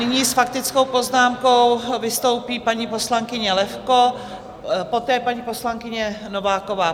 Nyní s faktickou poznámkou vystoupí paní poslankyně Levko, poté paní poslankyně Nováková.